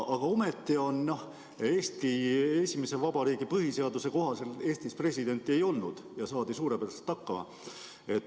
Eesti esimese vabariigi põhiseaduse kohaselt Eestis presidenti ei olnud ja saadi suurepäraselt hakkama.